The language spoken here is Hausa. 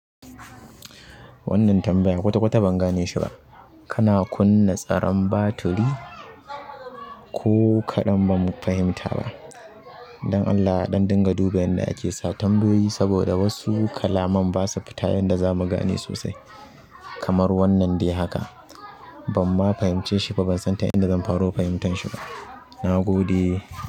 Wannan tambaya kwata-kwata ban gane shi ba. Kana kunna tsaron batiri? Ko kaɗan ba mu fahimta ba. Dan Allah a ɗan dinga duba yanda ake sa tambayoyi saboda wasu kalaman basu fita yanda zamu gane sosai. Kamar wannan dai haka. Ban ma fahimce shi ba, ban san ta inda zan faro fahimtan shi ba. Na gode.